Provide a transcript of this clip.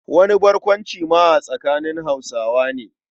Wani barkwancin ma a tsakanin Hausawa ne.